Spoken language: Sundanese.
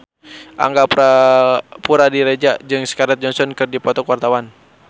Angga Puradiredja jeung Scarlett Johansson keur dipoto ku wartawan